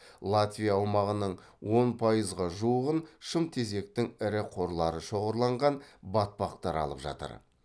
латвия аумағының он пайызға жуығын шымтезектің ірі қорлары шоғырланған батпақтар алып жатыр